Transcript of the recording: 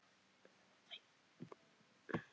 Og aldrei móður þeirra.